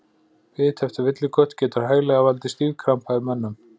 Bit eftir villikött getur hæglega valdið stífkrampa í mönnum.